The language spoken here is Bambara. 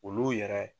Olu yɛrɛ